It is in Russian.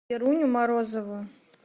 веруню морозову